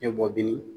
Ne bɔ bi